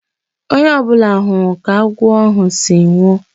Onye ọ bụla hụrụ ka agwọ ahụ si nwụọ.